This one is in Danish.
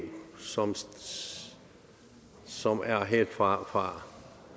som som er helt fra